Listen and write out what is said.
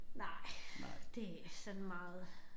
Nej det sådan meget